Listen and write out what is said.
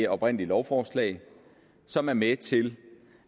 oprindelige lovforslag som er med til